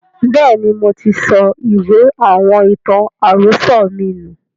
Bẹ́ẹ̀ni, moti sọ ìwé àwọn ìtàn àròsọ̀ mi nù